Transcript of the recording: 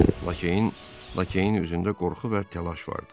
Lakeyin üzündə qorxu və təlaş vardı.